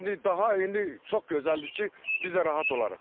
İndi daha indi çox gözəldir ki, biz də rahat olarıq.